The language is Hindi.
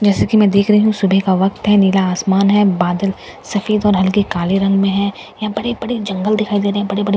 जैसा की मैं देख रही हूँ सुबह का वक़्त है नीला आसमान है बादल सफेद और हल्के काले रंग में हैं यहाँ बड़े बड़े जंगल दिखाई दे रहे हैं बड़े बड़े पेड़ हैं यहां --